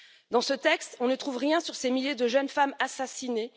Dans ce texte, on ne trouve rien sur ces milliers de jeunes femmes assassinées.